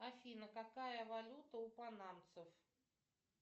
афина какая валюта у панамцев